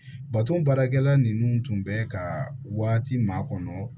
Bato baarakɛla nunnu tun bɛ ka waati ma kɔnɔ